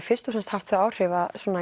fyrst og fremst haft þau áhrif að